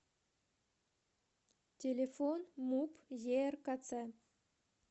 телефон муп еркц